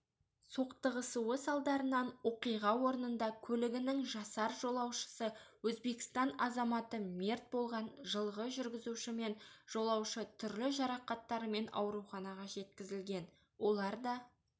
соқтығысу салдарынан оқиға орнында көлігінің жасар жолаушысы өзбекстан азаматы мерт болған жылғы жүргізуші мен жолаушы түрлі жарақаттарымен ауруханаға жеткізілген олар да